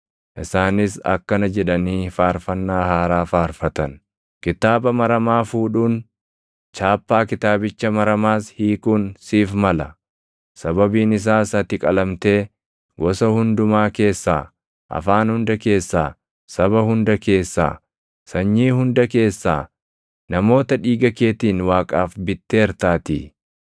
Isaanis akkana jedhanii faarfannaa haaraa faarfatan; “Kitaaba maramaa fuudhuun, chaappaa kitaabicha maramaas hiikuun siif mala; sababiin isaas ati qalamtee, gosa hundumaa keessaa, afaan hunda keessaa, saba hunda keessaa, sanyii hunda keessaa, namoota dhiiga keetiin Waaqaaf bitteertaatii.